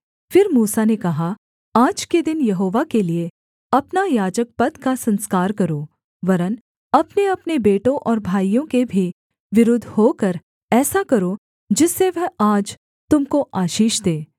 फिर मूसा ने कहा आज के दिन यहोवा के लिये अपना याजकपद का संस्कार करो वरन् अपनेअपने बेटों और भाइयों के भी विरुद्ध होकर ऐसा करो जिससे वह आज तुम को आशीष दे